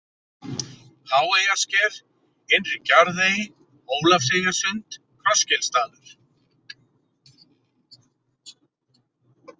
Háeyjarsker, Innri-Gjarðey, Ólafseyjarsund, Krossgilsdalur